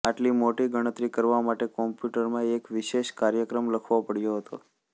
આટલી મોટી ગણતરી કરવા માટે કમ્પ્યુટરમાં એક વિશેષ કાર્યક્રમ લખવો પડ્યો હતો